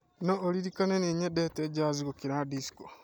no ũririkane nĩĩ nĩnyendete jaz gũkĩra dicso